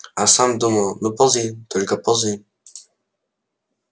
а сам думал ну ползи только ползи